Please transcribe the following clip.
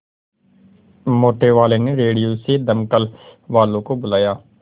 मोटेवाले ने रेडियो से दमकल वालों को बुलाया